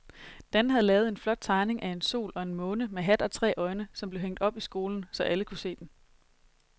Dan havde lavet en flot tegning af en sol og en måne med hat og tre øjne, som blev hængt op i skolen, så alle kunne se den.